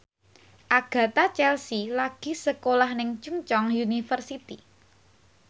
Agatha Chelsea lagi sekolah nang Chungceong University